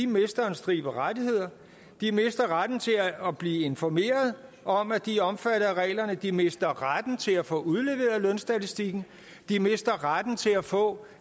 mister en stribe rettigheder de mister retten til at blive informeret om at de er omfattet af reglerne de mister retten til at få udleveret lønstatistikken de mister retten til at få